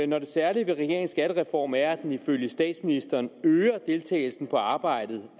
når det særlige ved regeringens skattereform er at den ifølge statsministeren øger deltagelsen på arbejdsmarkedet